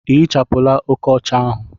Ị ehichapụla oke ọcha ahu?